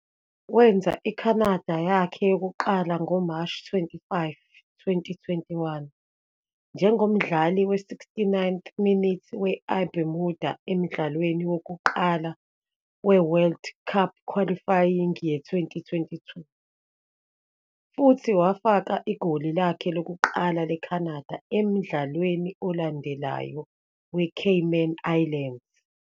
Wenza i-Canada yakhe yokuqala ngoMashi 25, 2021, njengomdlali we-69th-minute we-IBermuda emdlalweni wokuqala we-World Cup qualifying ye-2022, futhi wafaka igoli lakhe lokuqala le-Canada emdlalwa olandelayo we-Cayman Islands.